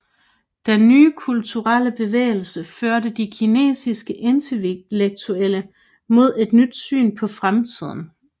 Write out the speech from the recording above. Den Nye Kulturelle Bevægelsen førte de kinesiske intellektuelle mod et nyt syn på fremtiden